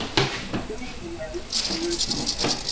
Greinilega lítið um þá gefið.